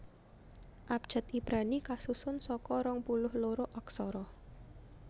Abjad Ibrani kasusun saka rong puluh loro aksara